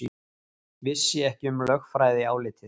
Vissi ekki um lögfræðiálitið